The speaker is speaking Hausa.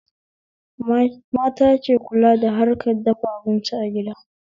Mata ke kula da harkan dafa abinci a gida